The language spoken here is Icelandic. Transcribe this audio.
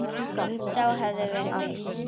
Sá hafði verið viss!